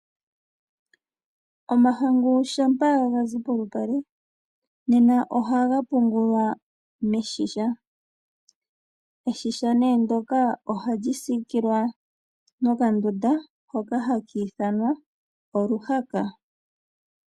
Omahangu shampa gazi polupale ohaga pungulwa meshisha. Eshisha ne ndyoka ohali sikila nokandunda hoka haka ithanwa oluhaka.